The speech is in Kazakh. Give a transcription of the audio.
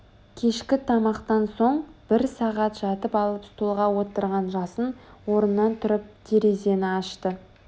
кешкі тамақтан соң бір сағат жатып алып столға отырған жасын орнынан тұрып терезені ашты